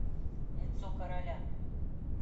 лицо короля